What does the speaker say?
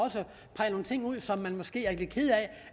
peger nogle ting ud som man måske er lidt ked